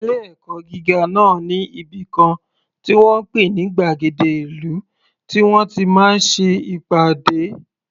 Ilé ẹ̀kọ́ gíga náà ní ibìkan tí wọ́n ń pè ní gbàgéde ìlú tí wọ́n ti máa ń ṣe ìpàdé.